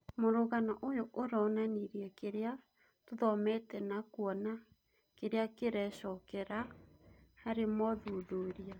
Mũrugano ũyũ ũronanirie kĩrĩa tũthomete na kuona kĩrĩa kĩrecokera harĩ mothuthuria